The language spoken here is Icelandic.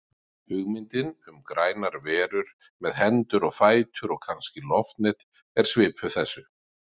Hugmyndin um grænar verur með hendur og fætur og kannski loftnet er svipuð þessu.